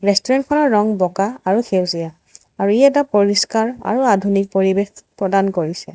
ৰেষ্টুৰেণ্টখনৰ ৰং বগা আৰু সেউজীয়া আৰু ই এটা পৰিস্কাৰ আৰু আধুনিক পৰিৱেশ প্ৰদান কৰিছে।